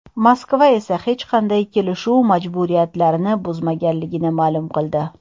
Moskva esa hech qanday kelishuv majburiyatlarni buzmaganligini ma’lum qildi.